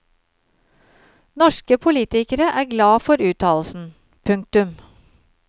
Norske politikere er glad for uttalelsen. punktum